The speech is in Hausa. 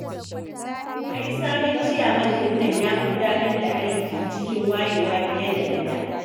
Ai sabon Ciyaman din nan ya fi gudanar da aiki cikin wayewa fiye da na da